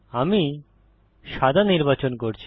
আমি সাদা নির্বাচন করছি